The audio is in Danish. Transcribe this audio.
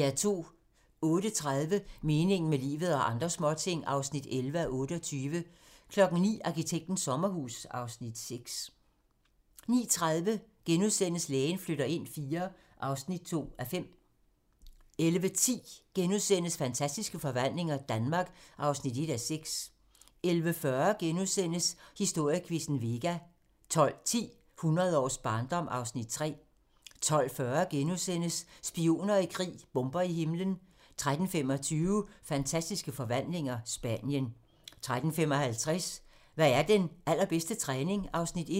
08:30: Meningen med livet - og andre småting (11:28) 09:00: Arkitektens sommerhus (Afs. 6) 09:30: Lægen flytter ind IV (2:5)* 10:15: Det ufremkommelige Norge (Afs. 5)* 11:10: Fantastiske forvandlinger - Danmark (1:6)* 11:40: Historiequizzen: Vega * 12:10: Hundrede års barndom (Afs. 3) 12:40: Spioner i krig: Bomber i himlen * 13:25: Fantastiske forvandlinger - Spanien 13:55: Hvad er den allerbedste træning? (Afs. 1)